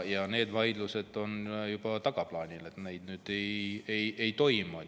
Need vaidlused on juba tagaplaanil, neid enam ei toimu.